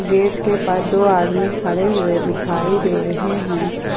पेड़ के पास दो आदमी खड़े हुए दिखाई दे रहे हैं।